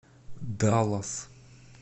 даллас